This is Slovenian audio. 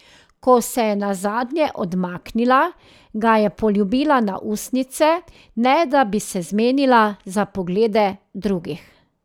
Ko se je nazadnje odmaknila, ga je poljubila na ustnice, ne da bi se zmenila za poglede drugih.